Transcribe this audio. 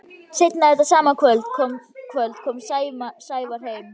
Seinna þetta sama kvöld kom Sævar heim.